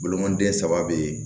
Bolomanden saba be yen